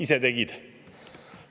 Ise tegid!